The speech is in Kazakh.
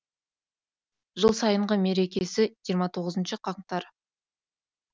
жыл сайынғы мерекесі жиырма тоғызыншы қаңтар